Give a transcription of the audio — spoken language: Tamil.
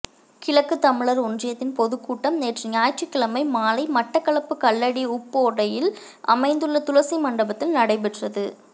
கிழக்கு தமிழர் ஒன்றியத்தின் பொதுக்கூட்டம் நேற்று ஞாயிற்றுக்கிழமை மாலை மட்டக்களப்பு கல்லடி உப்போடையில் அமைந்துள்ள துளசி மண்டபத்தில் நடைபெற்றது